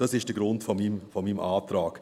Das ist der Grund für meinen Antrag.